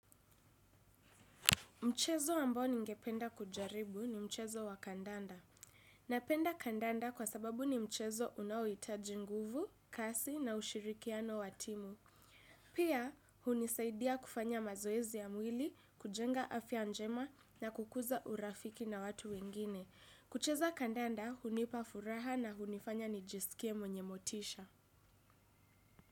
Mchezo ambao ningependa kujaribu ni mchezo wa kandanda. Napenda kandanda kwa sababu ni mchezo unaohitaji nguvu, kasi na ushirikiano wa timu. Pia, hunisaidia kufanya mazoezi ya mwili, kujenga afya njema na kukuza urafiki na watu wengine. Kucheza kandanda, hunipa furaha na hunifanya nijisikie mwenye motisha.